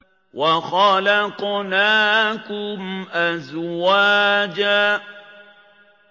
وَخَلَقْنَاكُمْ أَزْوَاجًا